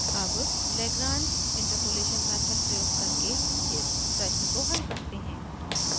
अब lagrange interpolation method प्रयोग करके इस प्रश्न को हल करते हैं